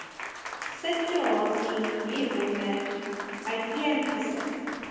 situasie hieronder uiteengesit